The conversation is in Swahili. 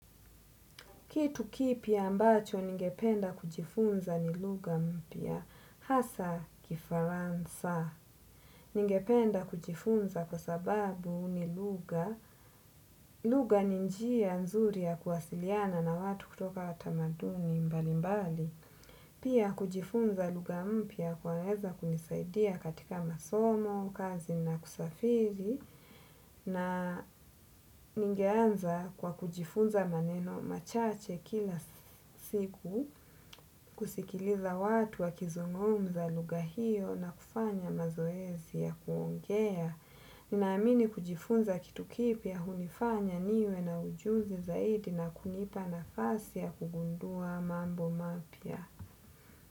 Kitu kipya ambacho ningependa kujifunza ni lugha mpya, hasa kifaranza. Ningependa kujifunza kwa sababu ni lugha, lugha ni njia nzuri ya kuwasiliana na watu kutoka tamaduni mbali mbali. Pia kujifunza lugha mpya kwaweza kunisaidia katika masomo, kazi na kusafiri, na ningeanza kwa kujifunza maneno machache kila siku. Kusikiliza watu wakizungumza lugha hio na kufanya mazoezi ya kuongea. Ninaamini kujifunza kitu kipya hunifanya niwe na ujuzi zaidi na kunipa nafasi ya kugundua mambo mapya.